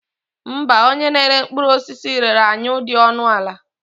Mba, onye na-ere mkpụrụ osisi rere anyụ dị ọnụ ala.